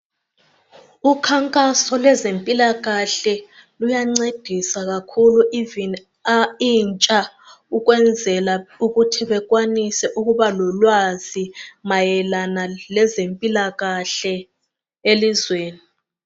Ukhankaso lwezempilakahle luyancedisa kakhulu intsha ukwenzela ukuthi bekwanise ukuba lolwazi mayelana lezempilakahle elizweni